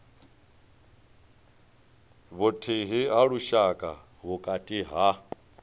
vhuthihi ha lushaka vhukati ha